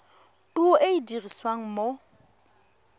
puo e e dirisiwang mo